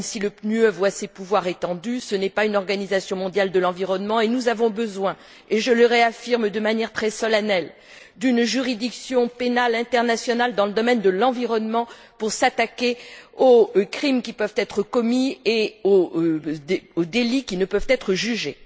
Même si le PNUE voit ses pouvoirs étendus, ce programme n'est pas une organisation mondiale de l'environnement. Nous avons besoin et je le réaffirme de manière très solennelle d'une juridiction pénale internationale dans le domaine de l'environnement pour s'attaquer aux crimes qui peuvent être commis et aux délits qui ne peuvent être jugés.